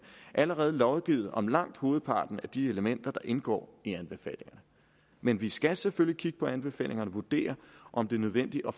allerede lovgivet om langt hovedparten af de elementer der indgår i anbefalingerne men vi skal selvfølgelig kigge på anbefalingerne og vurdere om det er nødvendigt at